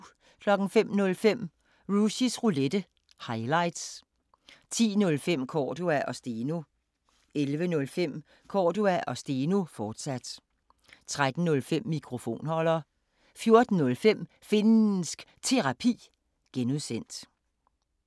05:05: Rushys Roulette – highlights 10:05: Cordua & Steno 11:05: Cordua & Steno, fortsat 13:05: Mikrofonholder 14:05: Finnsk Terapi (G)